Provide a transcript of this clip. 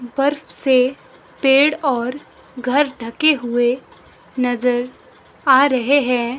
बर्फ से पेड़ और घर ढके हुए नजर आ रहे हैं।